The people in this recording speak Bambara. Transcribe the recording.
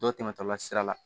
Dɔw tɛmɛtɔla sira la